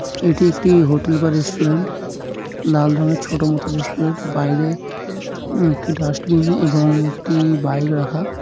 এটি একটি হোটেল বা রেস্টুরেন্ট লাল রংয়ের ছোট মত রেস্টুরেন্ট বাইরে উম একটি ডাস্টবিন এবং একটি বাইক রাখা।